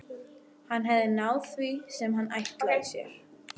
Hann hafði náð því sem hann ætlaði sér.